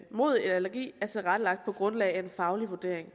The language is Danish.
mod allergi er tilrettelagt på grundlag af en faglig vurdering